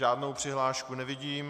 Žádnou přihlášku nevidím.